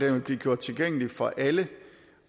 vil blive gjort tilgængelig for alle